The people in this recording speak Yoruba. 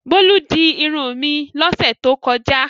Bólú di irun mi lọ́sẹ̀ tó kọjá.